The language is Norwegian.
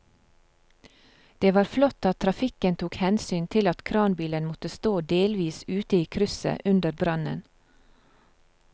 Det var flott at trafikken tok hensyn til at kranbilen måtte stå delvis ute i krysset under brannen.